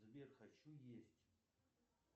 сбер хочу есть